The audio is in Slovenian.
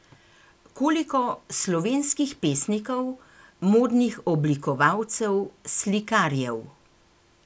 Koliko slovenskih pesnikov, modnih oblikovalcev, slikarjev?